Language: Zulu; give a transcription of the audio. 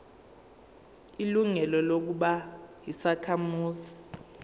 ilungelo lokuba yisakhamuzi